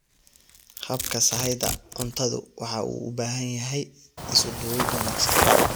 Habka sahayda cuntadu waxa uu u baahan yahay isuduwid wanaagsan.